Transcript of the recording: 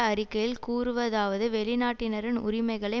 அறிக்கையில் கூறுவதாவது வெளிநாட்டினரின் உரிமைகளை